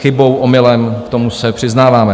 Chybou, omylem, k tomu se přiznáváme.